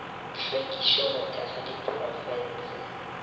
hlwekišo go thekga diprofense le